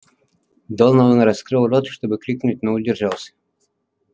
донован раскрыл рот чтобы крикнуть но удержался